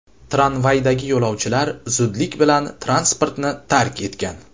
Tramvaydagi yo‘lovchilar zudlik bilan transportni tark etgan.